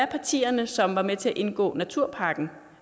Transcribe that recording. partier som var med til at indgå naturpakken